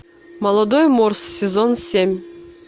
молодой морс сезон семь